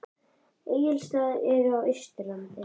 Egilsstaðir eru á Austurlandi.